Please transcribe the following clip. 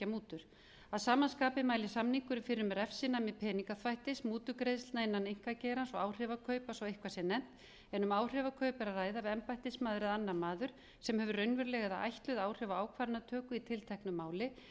mútur að sama skapi mælir samningurinn fyrir um refsinæmi peningaþvættis mútugreiðslna innan einkageirans og áhrifakaupa svo eitthvað sé nefnt en ef um áhrifakaup er að ræða við embættismaður eða annar maður sem hefur raunveruleg eða ætluð áhrif á ákvarðanatöku í tilteknu máli